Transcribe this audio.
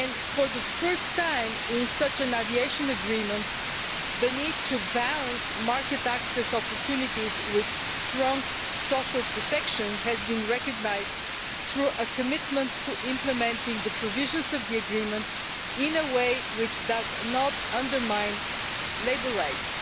For the first time in such an aviation agreement, the need to balance market access opportunities with strong social protection has been recognised through a commitment to implementing the provisions of the agreement in a way which does not undermine labour rights.